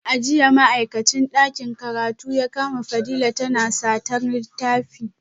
A jiya ma’aikacin dakin karatu ya kama Fadila tana satar littafi